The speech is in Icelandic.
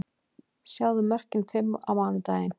Sjáðu mörkin fimm á mánudaginn: